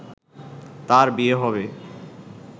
তার বিয়ে হবে